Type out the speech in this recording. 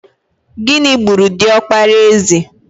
Gịnị gburu diọkpara eze?